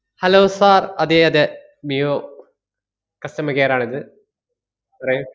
Hello sir അതെയതെ മിയോ customer care ആണിത് പറയൂ.